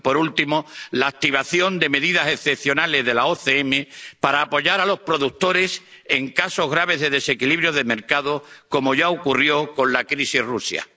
y, por último, la activación de medidas excepcionales de la OCM para apoyar a los productores en casos graves de desequilibrio del mercado, como ya ocurrió con la crisis con Rusia.